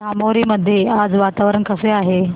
धामोरी मध्ये आज वातावरण कसे आहे